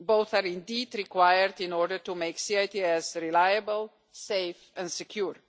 Both are indeed required in order to make C-ITS reliable, safe and secure.